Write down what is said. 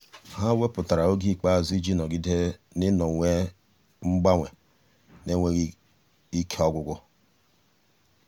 há wépụ́tara oge ikpeazụ iji nọ́gídé n’ị́nọ́wé mkpali n’énwéghị́ ike ọ́gwụ́gwụ́.